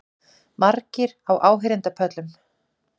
Margir á áheyrendapöllum